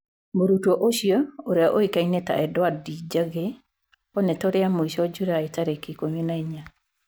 "Mũrutwo ũcio, ũria oikaine ta Endiwandi Jage, onetwo r mũico Julaĩ tarĩki ikumi na inya".